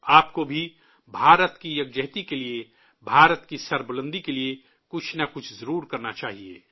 آپ کو بھی، بھارت کے اتحاد کے لیے، بھارت کی عظمت کے لیے کچھ نہ کچھ ضرور کرنا چاہیے